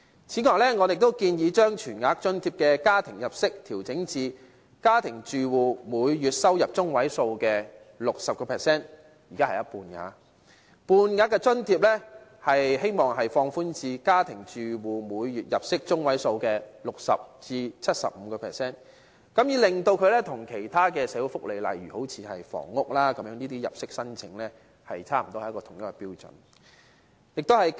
此外，我們亦建議將全額津貼的家庭入息限額，調整至家庭住戶每月入息中位數的 60%； 而半額津貼，希望放寬至家庭住戶每月入息中位數的 60% 至 75%， 令它與其他社會福利，例如房屋等入息申請，差不多是同一個標準。